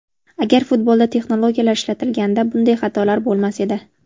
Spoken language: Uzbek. Agar futbolda texnologiyalar ishlatilganida bunday xatolar bo‘lmas edi.